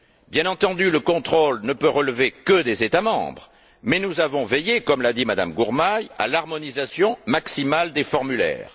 Bien entendu, le contrôle ne peut relever que des États membres mais nous avons veillé, comme l'a dit Mme Gurmai, à l'harmonisation maximale des formulaires.